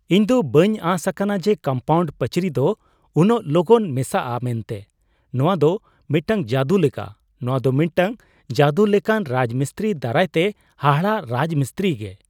ᱤᱧ ᱫᱚ ᱵᱟᱹᱧ ᱟᱸᱥ ᱟᱠᱟᱱᱟ ᱡᱮ ᱠᱚᱢᱯᱟᱣᱩᱱᱰ ᱯᱟᱹᱪᱤᱨ ᱫᱚ ᱩᱱᱟᱹᱜ ᱞᱚᱜᱚᱱ ᱢᱮᱥᱟᱜᱼᱟ ᱢᱮᱱᱛᱮ ᱱᱚᱶᱟ ᱫᱚ ᱢᱤᱫᱴᱟᱝ ᱡᱟᱹᱫᱩ ᱞᱮᱠᱟ ᱾ ᱱᱚᱶᱟ ᱫᱚ ᱢᱤᱫᱴᱟᱝ ᱡᱟᱹᱫᱩ ᱞᱮᱠᱟᱱ ᱨᱟᱡᱽᱢᱤᱥᱛᱨᱤ ᱫᱟᱨᱟᱭ ᱛᱮ ᱦᱟᱦᱟᱲᱟᱜ ᱨᱟᱡᱽ ᱢᱤᱥᱛᱨᱤ ᱜᱮ ᱾